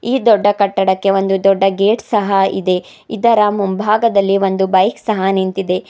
ಈ ದೊಡ್ಡ ಕಟ್ಟಡಕ್ಕೆ ಒಂದು ದೊಡ್ಡ ಗೇಟ್ ಸಹ ಇದೆ ಇದರ ಮುಂಭಾಗದಲ್ಲಿ ಒಂದು ಬೈಕ್ ಸಹ ನಿಂತಿದೆ.